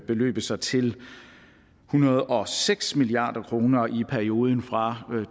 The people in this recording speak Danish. beløbe sig til en hundrede og seks milliard kroner i perioden fra